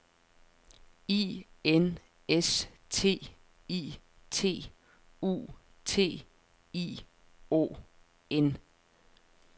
I N S T I T U T I O N